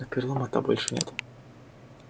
но перелома-то больше нет